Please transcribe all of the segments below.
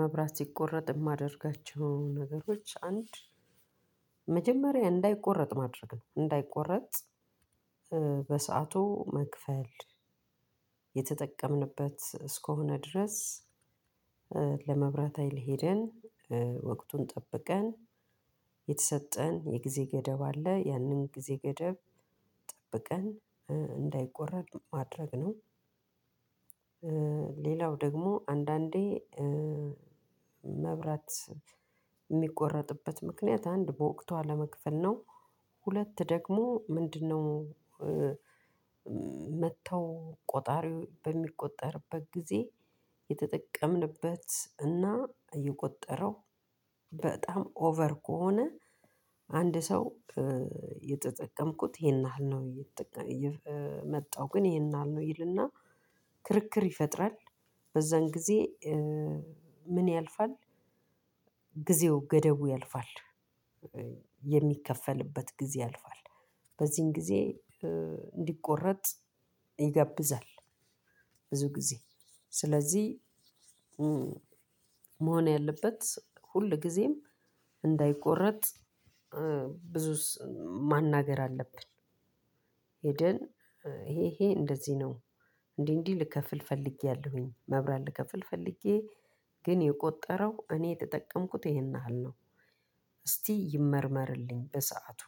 መብራት ሲቆረጥ የማደርጋቸው ነገሮች አንድ መጀመሪያ እንዳይቆረጥ ማድረግ ነው እንዳይቆረጥ በሰአቱ መክፈል የተጠቀምንበት እስከሆነ ድረስ ለመብራት ሀይል ሄደን ወቅቱን ጠብቀን የተሰጠን የጊዜ ገደብ አለ ያንን ጊዜ ገደብ ጠብቀን እንዳይቆረጥ ማድረግ ነው። ሌላው ደግሞ አንዳንዴ መብራት የሚቆረጥበት ምክንያት አንድ በወቅቱ አለመክፈል ነው ሁለት ደግሞ ምንድነው? መተው ቆጣሪው በሚቆጠርበት ጊዜ የተጠቀምንበት እና የቆጠረው በጣም ኦቨር ከሆነ አንድ ሰው የተጠቀምኩት ይሄን ያህል ነው የመጣው ግን ይሄን ያህል ነው ይልና ክርክር ይፈጥራል። በዛን ጊዜ ምን ያልፋል ጊዜው ገደቡ ያልፋል የሚከፈልበት ጊዜ ያልፋል በዚህን ጊዜ እንዲቆረጥ ይጋብዛል። ጊዜ ስለዚህ መሆን ያለበት ሁል ጊዜም እንዳይቆረጥ ብዙስ ማናገር አለብን። ሄደን ይሄ ይሄ እንደዚህ ነው እንዲህ እንዲህ ልከፍል ፈልጌያለሁኝ መብራት ልከፍል ፈልጌ ግን የቆጠረው እኔ የተጠቀምኩት ይሄን ያህል ነው። እስቲ ይመርመርልኝ በሰአቱ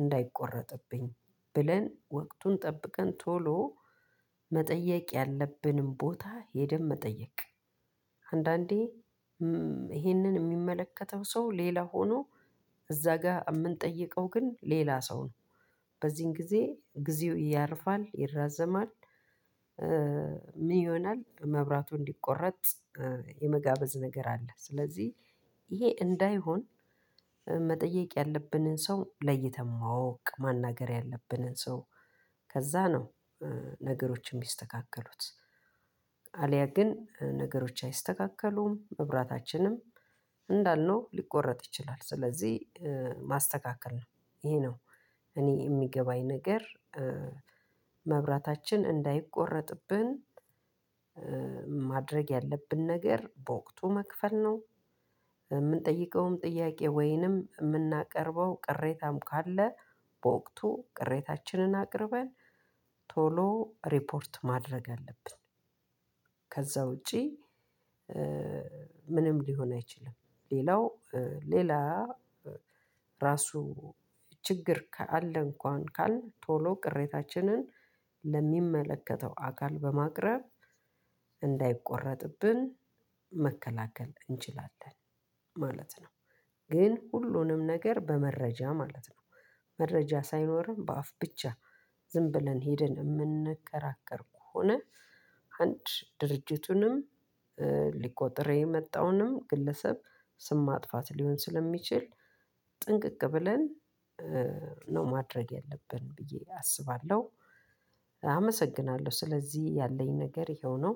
እንዳይቆረጥብኝ ብለን ወቅቱን ጠብቀን ቶሎ መጠየቅ ያለብንን ቦታ ሄደን መጠየቅ። አንዳንዴ ይሄንን የሚመለከተው ሰው ሌላ ሆኖ እዛ ጋር የምንጠይቀው ግን ሌላ ሰው ነው በዚህን ጊዜ ጊዜው ያልፋል ይራዘማል። ምን ይሆናል መብራቱ እንዲቆረጥ የመጋበዝ ነገር አለ። ስለዚህ ይሄ እንዳይሆን መጠየቅ ያለብንን ሰው ለይተን ማወቅ ማናገር ያለብንን ሰው ከዛ ነው ነገሮች የሚስተካከሉት። አልያ ግን ነገሮች አይስተካከሉም መብራታችንም እንዳልነው ሊቆረጥ ይችላል። ስለዚህ ማስተካከል ነው ይሄ ነው እኔ የሚገባኝ ነገር መብራታችን እንዳይቆረጥብን ማድረግ ያለብን ነገር በወቅቱ መክፈል ነው። የምንጠይቀውም ጥያቄ ወይንም የምናቀርበው ቅሬታም ካለ በወቅቱ ቅሬታችንን አቅርበን ቶሎ ሪፖርት ማድረግ አለብን። ከዛ ውጪ ምንም ሊሆን አይችልም። ሌላው ሌላ ራሱ ችግር ካለ እንኳን ካልን ቶሎ ቅሬታችንን ለሚመለከተው አካል በማቅረብ እንዳይቆረጥብን መከላከል እንችላለን ማለት ነው። ግን ሁሉንም ነገር በመረጃ ማለት ነው። መረጃ ሳይኖረን በአፍ ብቻ ዝም ብለን ሄደን የምንከራከር ከሆነ አንድ ድርጅቱንም ሊቆጥር የመጣውንም ግለሰብ ስም ማጥፋት ሊሆን ስለሚችል ጥንቅቅ ብለን ነው ማድረግ ያለብን ብዬ አስባለሁ። አመሰግናለሁ ስለዚህ ያለኝ ነገር ይኸው ነው።